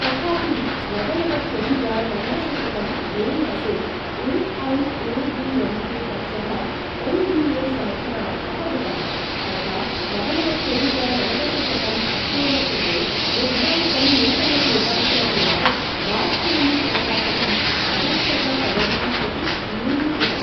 तथापि, नवनवत्यधिक नवदशशतं मे मासे ए.ऐ.ए.डी.एम्.के पक्षः एन्.डी.ए समर्थनात् अपगतः, तथा नवनवत्यधिक नवदशशतं अक्टोबर् कृते निर्धारितं नूतनं निर्वाचनं यावत् वाजपेयी प्रशासनम् अवेक्षक पदवीं प्रति न्यूनीकृतम्।